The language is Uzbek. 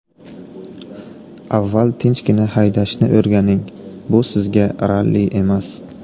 Avval tinchgina haydashni o‘rganing, bu sizga ralli emas!